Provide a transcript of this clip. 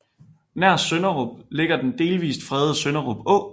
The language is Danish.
Nær Sønderup ligger den delvist fredede Sønderup Å